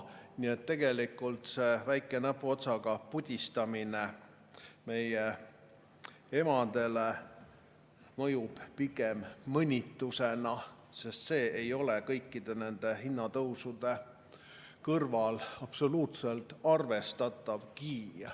Nii et tegelikult see väike näpuotsaga pudistamine meie emadele mõjub pigem mõnitusena, sest see ei ole kõikide nende hinnatõusude kõrval absoluutselt arvestatavgi.